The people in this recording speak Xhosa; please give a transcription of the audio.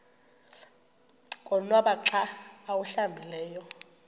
konwaba xa awuhlambileyo